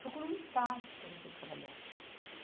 Procura um espaço para você trabalhar.